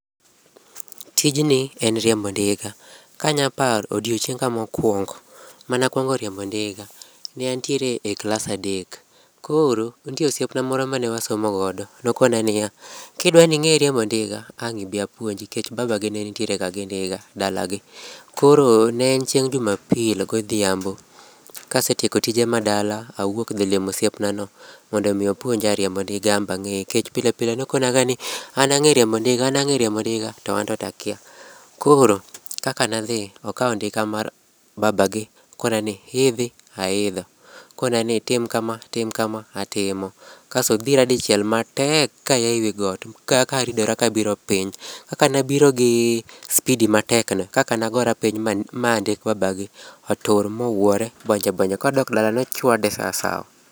Tijni en riembo ndiga, kanyalo paro odiechienga mokuongo, manakuongo riembo ndiga, ne antiere e klas adek. Koro ne nitie osiepna moro mane wasomo godo, ne okona niya, kidwa ni ing'e riembo ndiga to ang' ibi apuonji nikech baba gi ne nitiere ga gi ndiga dalagi. Koro ne en chieng# juma pil godhiambo. Kase tieko tije madala awuok dhi limo osiep nano mondo opuonja riembo ndiga an be ang'eye nikech pile pile nokona ni an ang#e riembo ndiga ang ang'e riembo ndiga to anto akia. Koro kaka ne adhi, okawo ndiga mar babagi, okona ni idhi, aidho. Okona ni tim kama, tim kama, atimo. Kasto odhira dichiel matek kaa ewi got karidora kabiro piny. Kaka nabiro gi spidi matek no e kaka nagora piny ma ndik babagi otur mowuore bonje bonje, kodok dala nochwade sasawa